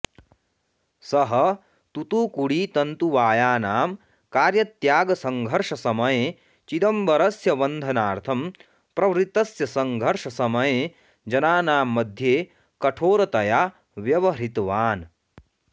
सः तूत्तुकुडी तन्तुवायानाम् कार्यत्यागसङ्घर्षसमये चिदंबरस्य् बन्धनार्थं प्रवृत्तस्य सङ्घर्ष समये जनानां मध्ये कठोरतया व्यवहृतवान्